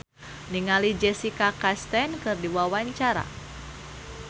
Bayu Octara olohok ningali Jessica Chastain keur diwawancara